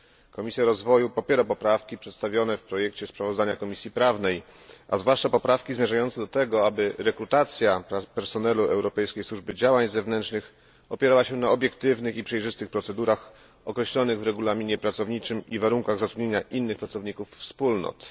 Komisja Rozwoju popiera poprawki przedstawione w projekcie sprawozdania Komisji Prawnej, a zwłaszcza poprawki zmierzające do tego, aby rekrutacja personelu Europejskiej Służby Działań Zewnętrznych opierała się na obiektywnych i przejrzystych procedurach określonych w regulaminie pracowniczym i warunkach zatrudnienia innych pracowników Wspólnot.